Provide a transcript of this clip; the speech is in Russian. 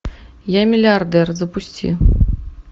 я миллиардер запусти